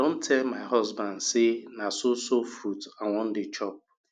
i don tell my husband say na so so fruit i wan dey chop